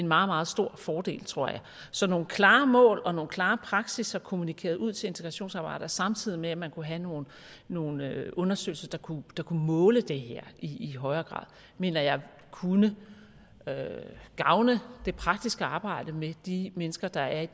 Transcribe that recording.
meget stor fordel tror jeg så nogle klare mål og nogle klare praksisser kommunikeret ud til integrationsapparatet samtidig med at man kunne have nogle nogle undersøgelser der kunne måle det her i højere grad mener jeg kunne gavne det praktiske arbejde med de mennesker der er i